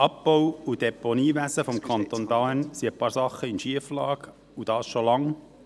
Im Abbau- und Deponiewesen des Kantons Bern sind einige Dinge in Schieflage, und dies schon lange.